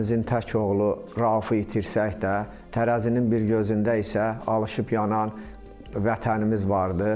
Ailəmizin tək oğlu Raufu itirsək də, tərəzinin bir gözündə isə alışıb yanan vətənimiz vardır.